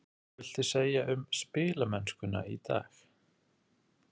Hvað viltu segja um spilamennskuna í dag?